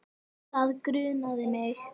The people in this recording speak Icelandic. Það grunaði mig.